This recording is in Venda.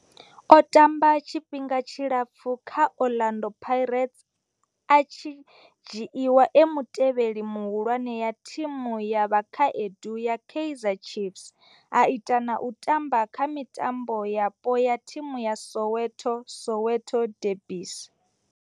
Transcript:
O tamba tshifhinga tshilapfhu kha Orlando Pirates, a tshi dzhiiwa e mutevheli muhulwane wa thimu ya vhakhaedu ya Kaizer Chiefs, a ita na u tamba kha mitambo yapo ya thimu dza Soweto, Soweto derbies.